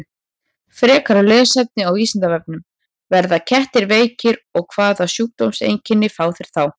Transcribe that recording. Frekara lesefni á Vísindavefnum: Verða kettir veikir og hvaða sjúkdómseinkenni fá þeir þá?